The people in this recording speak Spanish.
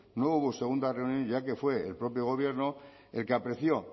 no hubo segunda reunión ya que fue el propio gobierno el que apreció